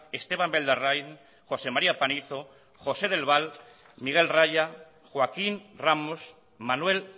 esteban beldarrain josé maría panizo josé del val miguel raya joaquín ramos manuel